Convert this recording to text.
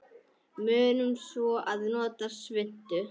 Munum svo að nota svuntu.